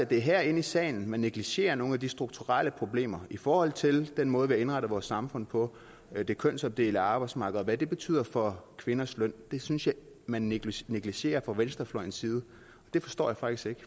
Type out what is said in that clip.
det er her i salen at man negligerer nogle af de strukturelle problemer i forhold til den måde har indrettet vores samfund på med det kønsopdelte arbejdsmarked og hvad det betyder for kvinders løn det synes jeg at man negligerer negligerer fra venstrefløjens side og det forstår jeg faktisk